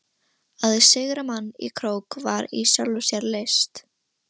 Að sigra mann í krók var í sjálfu sér list.